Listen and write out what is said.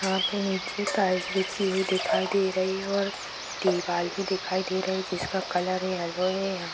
यहाँ पे नीचे टाइल्स बिछी हुई दिखाई दे रही है और दीवाल भी दिखाई दे ही है जिसका कलर येलो है या --